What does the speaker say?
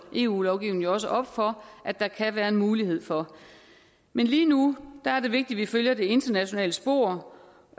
eu lovgivningen jo også op for at der kan være en mulighed for men lige nu er det vigtigt at vi følger det internationale spor